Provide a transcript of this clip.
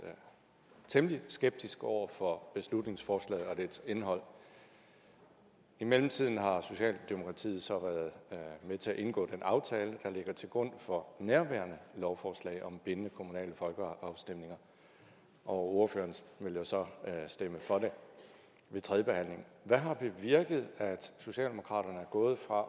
temmelig skeptisk over for beslutningsforslaget og dets indhold i mellemtiden har socialdemokratiet så været med til at indgå den aftale der ligger til grund for nærværende lovforslag om bindende kommunale folkeafstemninger og ordføreren vil jo så stemme for det ved tredjebehandlingen hvad har bevirket at socialdemokraterne er gået fra at